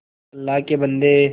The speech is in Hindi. अल्लाह के बन्दे